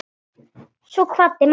Svo kvaddi mamma líka.